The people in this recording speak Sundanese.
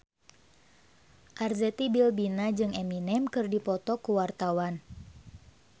Arzetti Bilbina jeung Eminem keur dipoto ku wartawan